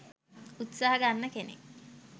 උත්සාහ ගන්න කෙනෙක්.